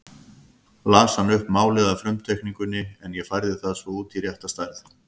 Las hann upp málið af frumteikningunni en ég færði það svo út í rétta stærð.